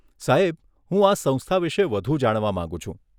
સાહેબ, હું આ સંસ્થા વિશે વધુ જાણવા માંગુ છું.